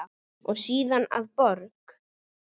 og síðar að borg.